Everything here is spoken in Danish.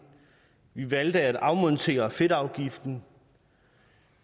vi valgte at afmontere fedtafgiften